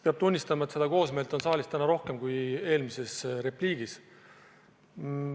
Peab tunnistama, et koosmeelt on täna saalis rohkem kui eelmises repliigis.